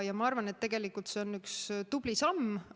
Ma arvan, et tegelikult on see üks tubli samm.